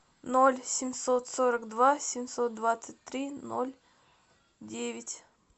ноль семьсот сорок два семьсот двадцать три ноль девять